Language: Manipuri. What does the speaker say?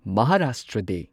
ꯃꯍꯥꯔꯥꯁꯇ꯭ꯔ ꯗꯦ